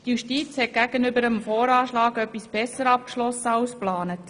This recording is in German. Die Justiz hat gegenüber dem Voranschlag etwas besser abgeschlossen als geplant.